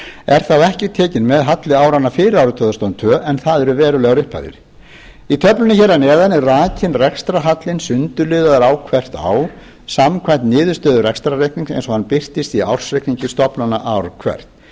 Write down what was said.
er þá ekki tekinn með halli áranna fyrir árið tvö þúsund og tvö en það eru verulegar upphæðir í töflunni hér að neðan er rakinn rekstrarhallinn sundurliðaður á hvert ár samkvæmt niðurstöðu rekstrarreiknings eins og hann birtist í ársreikningi stofnana ár hvert